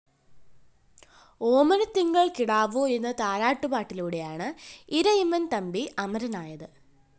ഓമനത്തിങ്കള്‍ കിടാവോ എന്ന താരാട്ടുപാടിലൂടെയാണ് ഇരയിമ്മന്‍ തമ്പി അമരനായത്